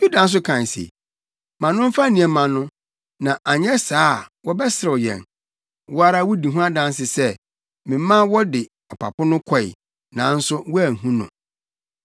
Yuda nso kae se, “Ma no mfa nneɛma no, na anyɛ saa a wɔbɛserew yɛn. Wo ara wudi ho adanse sɛ memaa wode ɔpapo no kɔe, nanso woanhu no.”